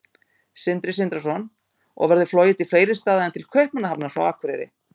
Sindri Sindrason: Og verður flogið til fleiri staða en til Kaupmannahafnar frá Akureyri?